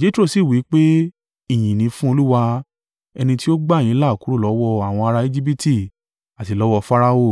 Jetro sì wí pé, “Ìyìn ni fún Olúwa, ẹni tí ó gba yín là kúrò lọ́wọ́ àwọn ará Ejibiti àti lọ́wọ́ Farao,